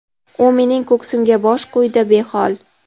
U mening ko‘ksimga bosh qo‘ydi behol.